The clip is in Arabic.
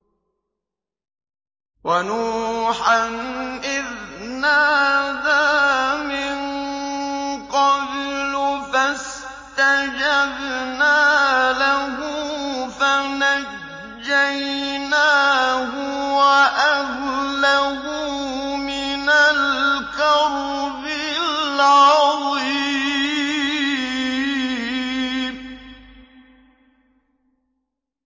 وَنُوحًا إِذْ نَادَىٰ مِن قَبْلُ فَاسْتَجَبْنَا لَهُ فَنَجَّيْنَاهُ وَأَهْلَهُ مِنَ الْكَرْبِ الْعَظِيمِ